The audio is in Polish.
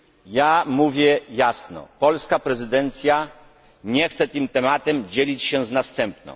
Ja mówię jasno polska prezydencja nie chce tym tematem dzielić się z następną.